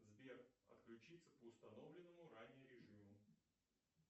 сбер отключиться по установленному ранее режиму